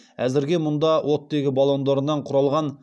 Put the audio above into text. әзірге мұнда оттегі баллондарынан құралған